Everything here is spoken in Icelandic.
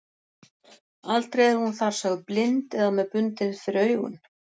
Aldrei er hún þar sögð blind eða með bundið fyrir augun.